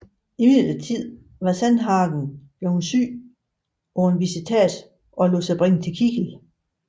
Imidlertid var Sandhagen bleven syg på en visitats og lod sig bringe til Kiel